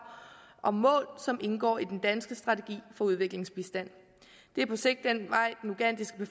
og mål som indgår i den danske strategi for udviklingsbistand det er på sigt den